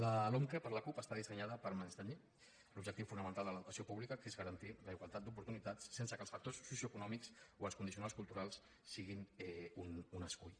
la lomqe per la cup està dissenyada per menystenir l’objectiu fonamental de l’educació pública que és garantir la igualtat d’oportunitats sense que els factors socioeconòmics o els condicionants culturals siguin un escull